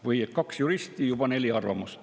Või: kaks juristi, aga juba neli arvamust.